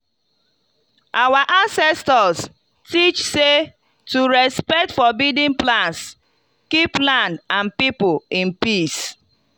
our ancestors teach say to respect forbidden plants keep land and people in peace.